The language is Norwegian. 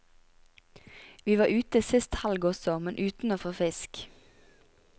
Vi var ute sist helg også, men uten å få fisk.